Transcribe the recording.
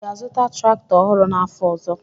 ị ga-azụta traktọ ọhụrụ n'afọ ọzọ?